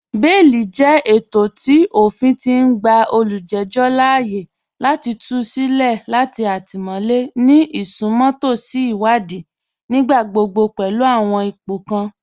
Bẹẹ̀lì jẹ ètọ̀ tí ófìn ti n gbà olújẹjọ láààyè láti tù sí ilẹ̀ latí àtímọ̀lẹ̀ ni isùnmọ̀tọ̀sì ìwàdìí, nígbàgbọ́gbọ́ pẹ̀lú àwọn ìpọ̀ kàn